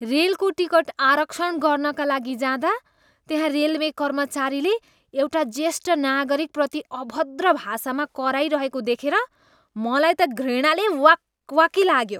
रेलको टिकट आरक्षण गर्नका लागि जाँदा त्यहाँ रेलवे कर्मचारीले एउटा ज्येष्ठ नागरिकप्रति अभद्र भाषामा कराइरहेको देखेर मलाई त घृणाले वाक् वाकी लाग्यो।